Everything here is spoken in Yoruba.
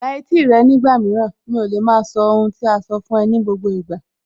La etí rẹ ní ìpàdé mìíràn, mi ò lè maa sọ ohun tí a sọ fún ẹ ní gbogbo ìgbà